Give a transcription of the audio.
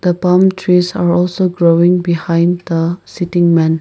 the palm trees are also growing behind the sitting man.